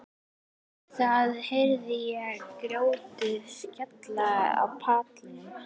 Það heyrist þegar grjótið skellur á pallinn.